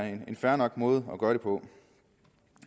en fair nok måde at gøre det på